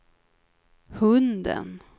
hunden